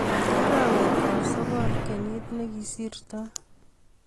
arawetab sogol kenyit negisirtoi